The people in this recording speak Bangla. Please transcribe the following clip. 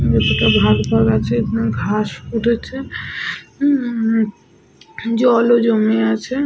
ভিতরটা ভাগ ভাগ আছে। এখানে ঘাস উঠেছে। উম জলও জমে আছে ।